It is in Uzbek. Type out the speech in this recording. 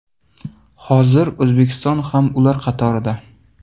Hozirda O‘zbekiston ham ular qatorida.